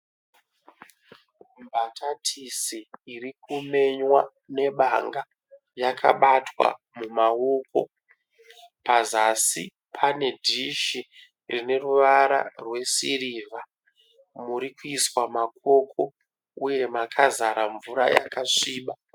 Mbatatisi iri kumenywa nebanga yakabatwa mumaoko. Pazasi pane dishi rine ruvara rwesirivha muri kuiswa makoko uye makazara mvura yakasviba.